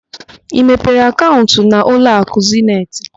Ị mepere akaụnt na ụlọakụ Zeniti?